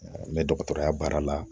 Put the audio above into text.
N bɛ dɔgɔtɔrɔya baara la